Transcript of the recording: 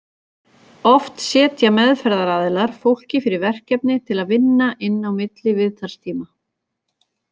Oft setja meðferðaraðilar fólki fyrir verkefni til að vinna inn á milli viðtalstíma.